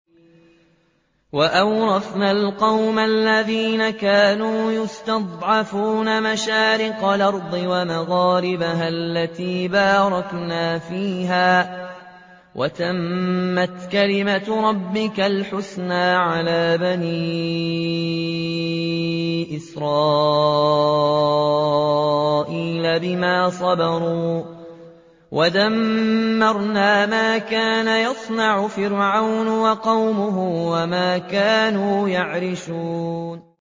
وَأَوْرَثْنَا الْقَوْمَ الَّذِينَ كَانُوا يُسْتَضْعَفُونَ مَشَارِقَ الْأَرْضِ وَمَغَارِبَهَا الَّتِي بَارَكْنَا فِيهَا ۖ وَتَمَّتْ كَلِمَتُ رَبِّكَ الْحُسْنَىٰ عَلَىٰ بَنِي إِسْرَائِيلَ بِمَا صَبَرُوا ۖ وَدَمَّرْنَا مَا كَانَ يَصْنَعُ فِرْعَوْنُ وَقَوْمُهُ وَمَا كَانُوا يَعْرِشُونَ